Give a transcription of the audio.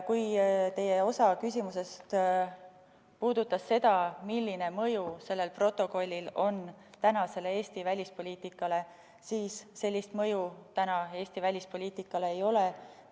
Kui osa teie küsimusest puudutas seda, milline mõju sellel protokollil on Eesti välispoliitikale, siis ütlen, et sellist mõju Eesti välispoliitikale praegu ei ole.